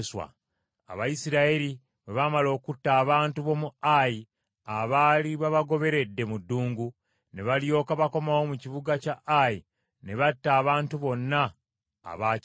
Abayisirayiri bwe baamala okutta abantu b’omu Ayi abaali babagoberedde mu ddungu, ne balyoka bakomawo mu kibuga kya Ayi ne batta abantu bonna abaakirimu.